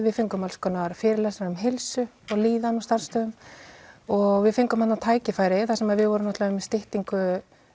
við fengum alls konar fyrirlestra um heilsu og líðan á starfstöðum og við fengum þarna tækifæri þar sem við vorum með styttingu